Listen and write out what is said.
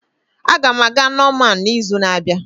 Aga m aga Norman n'izu na-abịa.